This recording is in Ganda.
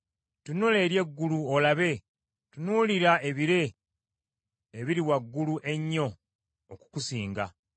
Tunula eri eggulu olabe; tunuulira ebire, ebiri waggulu ennyo okukusinga.